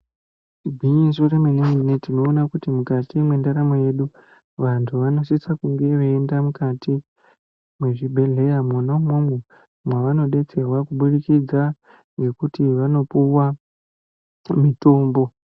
Igwinyiso remene mene tinoona kuti mukati mwendaramo yedu vantu vanosisa kunge veienda mukati mezvibhedhlera mwonaimomo mavanobetserwa kubudikidza nekuti vanopiwa mutombo .